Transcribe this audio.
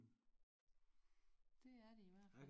Det er de i hvert fald